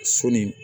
Sɔni